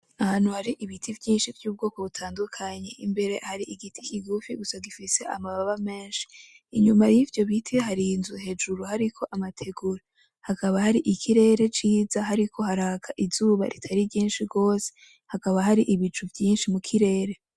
Ahantu hari ibiti vyinshi vy’ubwoko butandukanye, imbere hari igiti kigufi Gusa gifise amababa menshi, inyuma y’ivyo biti hari inzu hejuru hariko amategura hakaba hari ikirere ciza hariko haraka izuba ritari ryinshi gose, hakaba hari ibicu vyinshi mu kirere.